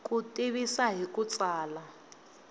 ku tivisa hi ku tsala